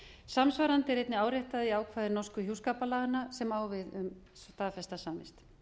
samsvarandi er einnig áréttað í ákvæði norsku hjúskaparlaganna sem á við um staðfesta samvist